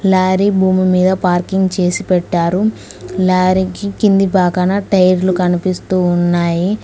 Lorry భూమి మీద parking చేసి పెట్టారు లారీకి కింది భాగాన టైర్లు కనిపిస్తూ ఉన్నాయి.